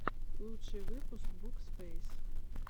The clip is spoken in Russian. лучший выпуск букспэйс